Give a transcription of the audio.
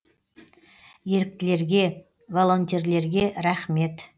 еріктілерге волонтерлерге рахмет